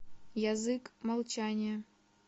язык молчания